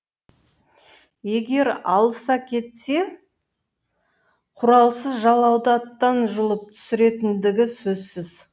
егер алыса кетсе құралсыз жалауды аттан жұлып түсіретіндігі сөзсіз